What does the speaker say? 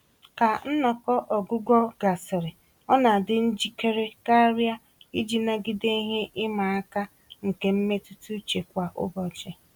Ka nnọkọ ọgwụgwọ gasịrị, ọ na adị njikere karịa iji nagide ihe ịma aka nke mmetuta uche kwa ụbọchị.